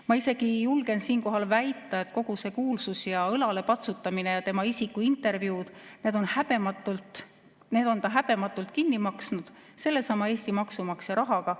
Ma isegi julgen siinkohal väita, et kogu selle kuulsuse, õlalepatsutamise ja isiklikud intervjuud on ta häbematult kinni maksnud sellesama Eesti maksumaksja rahaga.